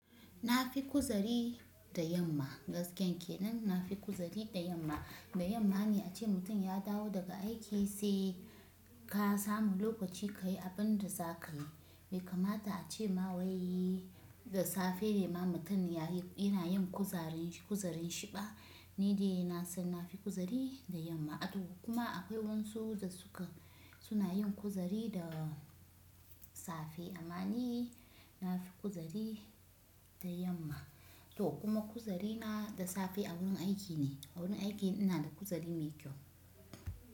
Na fi kuzari da yamma, gaskiyar kenan na fi kuzari da yamma. Da yamma ne ace mutum ya dawo daga aiki sai ka samu lokaci ka yi abin da za ka yi. Bai kamata a ce ma wai da safe ne ma mutum yana yin kuzarin shi ba, ni dai na san na fi kuzari da yamma. To kuma akwai wasu da suna yin kuzari da safe. Amma ni na fi kuzari da yamma. To kuma kuzarina da safe a wurin aiki ne. A wurin aiki ina da kuzari mai kyau.